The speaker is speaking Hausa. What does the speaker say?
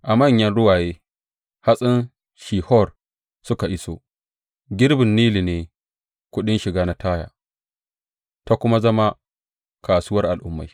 A manyan ruwaye hatsin Shihor suka iso; girbin Nilu ne kuɗin shiga na Taya ta kuma zama kasuwar al’ummai.